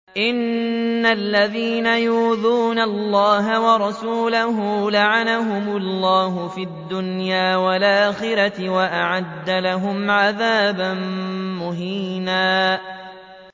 إِنَّ الَّذِينَ يُؤْذُونَ اللَّهَ وَرَسُولَهُ لَعَنَهُمُ اللَّهُ فِي الدُّنْيَا وَالْآخِرَةِ وَأَعَدَّ لَهُمْ عَذَابًا مُّهِينًا